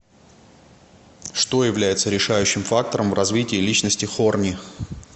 что является решающим фактором в развитии личности хорни